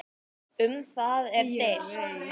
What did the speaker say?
Um það er deilt.